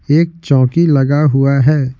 एक चौकी लगा हुआ है.